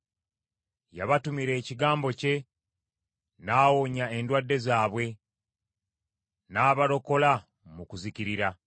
Yabatumira ekigambo kye, n’awonya endwadde zaabwe; n’abalokola mu kuzikirira.